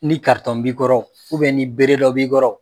Ni b'i kɔrɔ ni bere dɔ b'i kɔrɔ